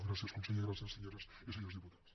gràcies senyor conseller i gràcies senyores i senyors diputats